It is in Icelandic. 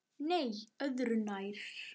Nei, öðru nær.